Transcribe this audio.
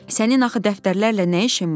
Sənin axı dəftərlərlə nə işin var?